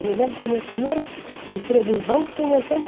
Eu me lembro que o meu primeiro emprego em banco foi em oitenta e